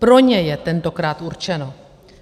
Pro ně je tentokrát určeno.